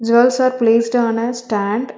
Jewels are placed on a stand.